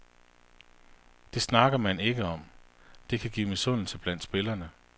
Det snakker man ikke om, det kan give misundelse blandt spillerne.